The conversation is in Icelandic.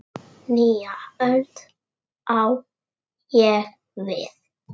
Nýja öld, á ég við.